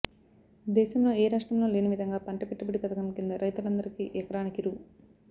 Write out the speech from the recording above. దేశంలో ఏ రాష్ట్రంలో లేని విధంగా పంట పెట్టుబడి పథకం కింద రైతులందరికీ ఎకరానికి రూ